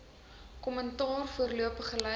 kommentaar voorlopige lyste